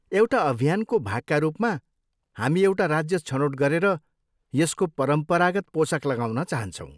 एउटा अभियानको भागका रूपमा, हामी एउटा राज्य छनौट गरेर यसको परम्परागत पोसाक लगाउन चाहान्छौँ।